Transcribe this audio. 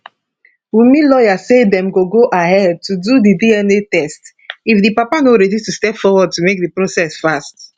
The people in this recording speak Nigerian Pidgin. wunmi lawyer say dem go go ahead to do di dna test if di papa no ready to step forward to make di process fast